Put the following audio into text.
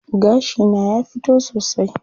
Gashi na ya fito sosai.